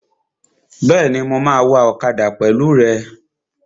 Bẹ́ẹ̀ni, mo máa wa ọ̀kadà pẹ̀lú rẹ